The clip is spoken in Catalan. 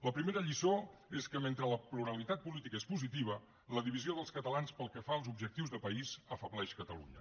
la primera lliçó és que mentre la pluralitat política és positiva la divisió dels catalans pel que fa als objectius de país afebleix catalunya